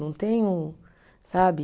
Não tenho, sabe?